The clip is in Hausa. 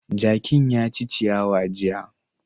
Jakin ya ci ciyawa jiya.